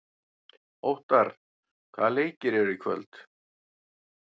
Óttarr, hvaða leikir eru í kvöld?